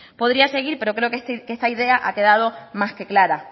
podría seguir pero creo que esta idea ha quedado más que clara